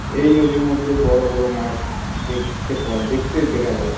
ওই নদীর মধ্যে বড় বড় মাছ দেখতে পাওয়া দেখতে দেখা যায়।